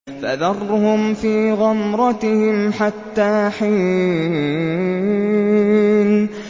فَذَرْهُمْ فِي غَمْرَتِهِمْ حَتَّىٰ حِينٍ